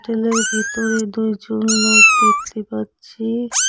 ভিতরে দুইজন লোক দেখতে পাচ্ছি।